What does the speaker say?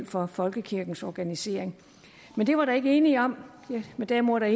for folkekirkens organisering men det var der ikke enighed om men derimod er